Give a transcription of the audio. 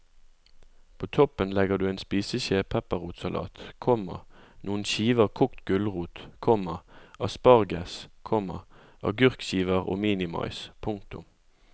På toppen legger du en spiseskje pepperrotsalat, komma noen skiver kokt gulrot, komma asparges, komma agurkskiver og minimais. punktum